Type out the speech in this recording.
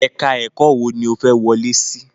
Ẹ̀ka ẹ̀kọ́ wo ni ó fẹ́ wọlé sí?